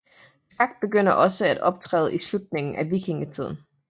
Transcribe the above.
Skak begynder også at optræde i slutningen af vikingetiden